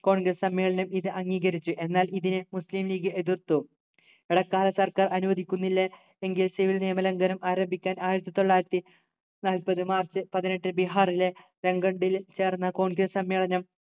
congress സമ്മേളനം ഇത് അംഗീകരിച്ചു എന്നാൽ ഇതിനെ മുസ്ലിം league എതിർത്തു ഇടക്കാല സർക്കാർ അനുവദിക്കുന്നില്ല എങ്കിൽ civil നിയമ ലംഘനം ആരംഭിക്കാൻ ആയിരത്തി തൊള്ളായിരത്തി നാല്പത് മാർച്ച് പതിനെട്ട് ബീഹാറിലെ രങ്കൻഡിൽ ചേർന്ന congress സമ്മേളനം